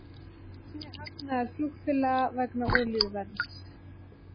Minni hagnaður flugfélaga vegna olíuverðs